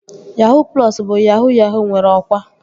Yahuu plọsu bụ yahuu yahuu nwere ọkwa